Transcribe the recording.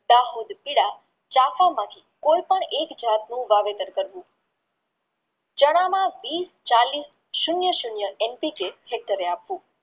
તા ખુબ પીળા ચાખવા માંથી કોઈ પણ એક જાતનું વાવેતર કરવું ચણા માં વિસ ચાલીસ સુન્ય સુન્ય આપવું